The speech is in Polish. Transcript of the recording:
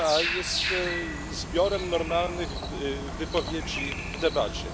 jest zbiorem normalnych wypowiedzi w debacie.